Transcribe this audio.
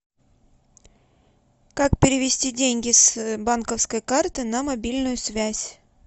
как перевести деньги с банковской карты на мобильную связь